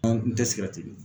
tɛ mi.